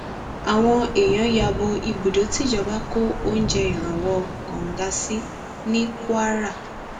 àwọn èèyàn ya bo ibùdó tìjọba kó oúnjẹ ìrànwọ kóńgá sí ní kwara